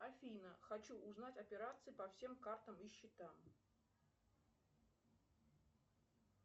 афина хочу узнать операции по всем картам и счетам